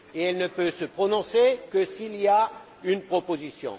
Et elle ne peut se prononcer que s'il y a une proposition.